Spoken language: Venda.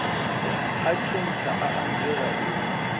a khentsa a anzela u